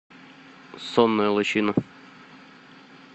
сонная лощина